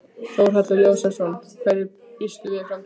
Þórhallur Jósefsson: Hverju býstu við í framtíðinni?